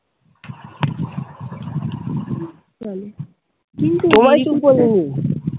তোমায় কিন্তু আমি নি ।